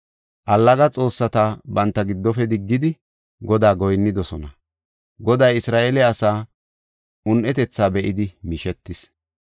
Allaga xoossata banta giddofe diggidi, Godaa goyinnidosona. Goday Isra7eele asaa un7etetha be7idi mishetis.